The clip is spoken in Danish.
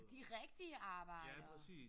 De rigtige arbejdere